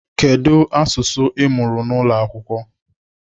Kedu asụsụ Ị mụrụ n'ụlọ akwụkwọ?